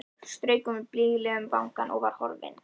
Svo strauk hún mér blíðlega um vangann og var horfin.